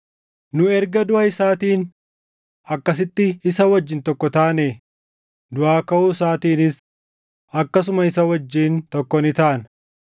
Nu erga duʼa isaatiin akkasitti isa wajjin tokko taane, duʼaa kaʼuu isaatiinis akkasuma isa wajjin tokko ni taana.